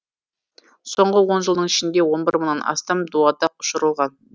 соңғы он жылдың ішінде он бір мыңнан астам дуадақ ұшырылған